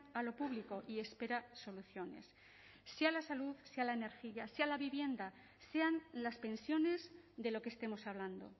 a lo público y espera soluciones sea la salud sea la energía sea la vivienda sean las pensiones de lo que estemos hablando